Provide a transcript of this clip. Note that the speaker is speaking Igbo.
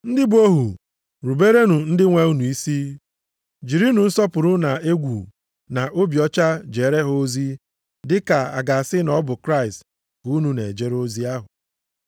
Ndị bụ ohu ruberenụ ndị nwee unu isi. Jirinụ nsọpụrụ na egwu na obi ọcha jeere ha ozi dị ka a ga-asị na ọ bụ Kraịst ka unu na-ejere ozi ahụ.